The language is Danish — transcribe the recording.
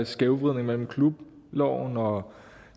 skævvridning mellem klubloven og